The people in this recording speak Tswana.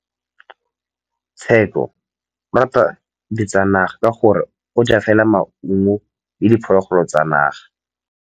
Tshekô o rata ditsanaga ka gore o ja fela maungo le diphologolo tsa naga.